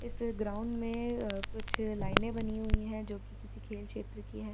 इस ग्राउंड में अ कुछ लाइने बनी हुई हैं जो कि किसी खेल क्षेत्र की है।